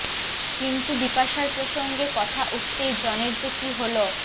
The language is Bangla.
কিন্তু বিপাশার প্রসঙ্গে কথা উঠতেই জনের যে কী হল